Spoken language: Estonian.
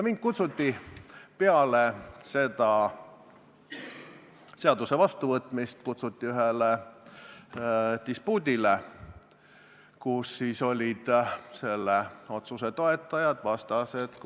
Mind kutsuti pärast selle seaduse vastuvõtmist ühele dispuudile, kus olid selle otsuse toetajad ja vastased.